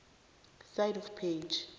side of page